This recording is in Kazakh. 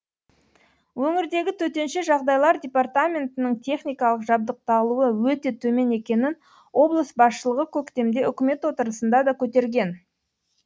өңірдегі төтенше жағдайлар департаментінің техникалық жабдықталуы өте төмен екенін облыс басшылығы көктемде үкімет отырысында да көтерген